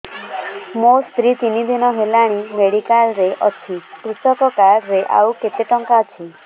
ମୋ ସ୍ତ୍ରୀ ତିନି ଦିନ ହେଲାଣି ମେଡିକାଲ ରେ ଅଛି କୃଷକ କାର୍ଡ ରେ ଆଉ କେତେ ଟଙ୍କା ଅଛି